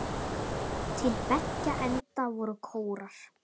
Til beggja enda voru kórar.